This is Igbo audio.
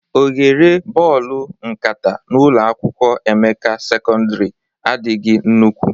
Oghere bọọlụ nkata n'ụlọ akwụkwọ Emeka sekọndrị adịghị nnukwu